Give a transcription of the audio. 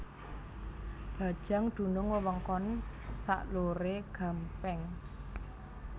Bajang dunung wewengkon sak lore Gampeng